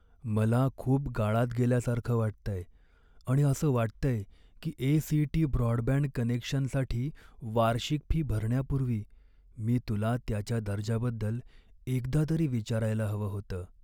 मला खूप गाळात गेल्यासारखं वाटतंय आणि असं वाटतंय की ए.सी.टी. ब्रॉडबँड कनेक्शनसाठी वार्षिक फी भरण्यापूर्वी मी तुला त्याच्या दर्जाबद्दल एकदा तरी विचारायला हवं होतं.